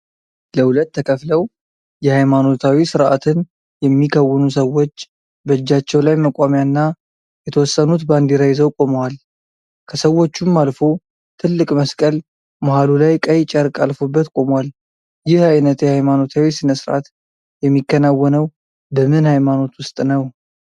ለሁለት ተከፍለው የሃይማኖታዊ ስርአትን የሚከውኑ ሰዎች በእጃቸው ላይ መቋሚያ እና የተወሰኑት ባንዲራ ይዘው ቆመዋል። ከሰዎቹም አልፎ ትልቅ መስቀል መሃሉ ላይ ቀይ ጨርቅ አልፎበት ቆሟል። ይህ አይነት የሃይማኖታዊ ስነ ስርአት የሚከናወነው በምን ሃይማኖት ዉስጥ ነው?